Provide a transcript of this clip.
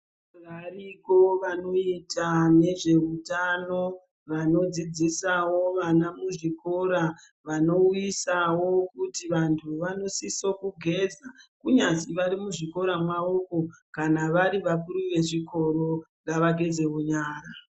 Variko vanoita nezveutano vanodzidzisawo vana muzvikora vanouyisawo kuti vantu vanosise kugeza kunyazi varimuzvikora mavomwo, kana vari vakuru vezvikora, ngavagezewo nyara.